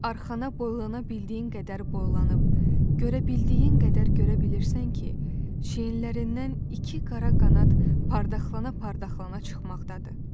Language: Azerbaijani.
Arxana boylana bildiyin qədər boylanıb, görə bildiyin qədər görə bilirsən ki, çiyinlərindən iki qara qanad parıdaxlana-parıdaxlana çıxmaqdadır.